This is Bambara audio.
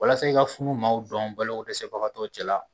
Walasa i ka maaw dɔn balokodɛsɛbagatɔ cɛla